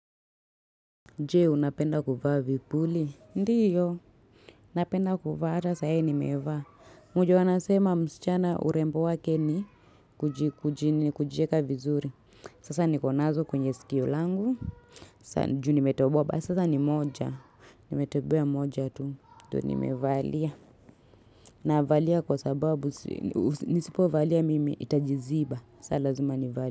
Je, unapenda kufaa vipuli? Ndio, napenda kuvaa, hata saa hii nimevaa. Ni juu wanasema msichana urembo wake ni kujiweka vizuri. Sasa niko nazo kwenye sikio langu. Juu nimetoboba, sasa ni moja. Nimetoboa ya moja tu, ndio nimevalia. Navalia kwa sababu, nisipovalia mimi itajiziba. Saa lazima nivae.